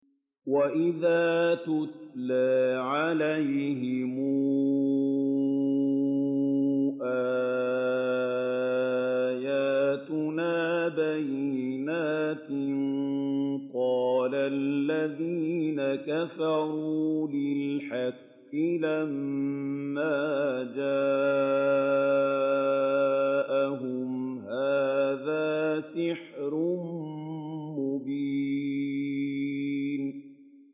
وَإِذَا تُتْلَىٰ عَلَيْهِمْ آيَاتُنَا بَيِّنَاتٍ قَالَ الَّذِينَ كَفَرُوا لِلْحَقِّ لَمَّا جَاءَهُمْ هَٰذَا سِحْرٌ مُّبِينٌ